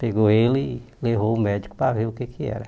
Pegou ele e levou ao médico para ver o que é que era.